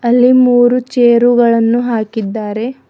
ಅಲ್ಲಿ ಮೂರು ಚೇರು ಗಳನ್ನು ಹಾಕಿದ್ದಾರೆ.